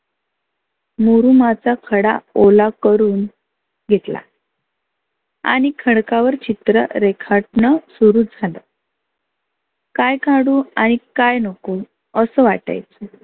मुरुमाचा खडा ओला करुन घेतला आणि खडका वर चित्र रेखाटनं सुरू झालं. काय काढु आणि काय नको असं वाटायचं.